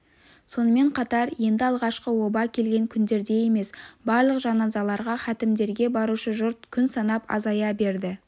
сонымен қатар енді алғашқы оба келген күндердей емес барлық жаназаларға хатімдерге барушы жұрт күн санап азая берді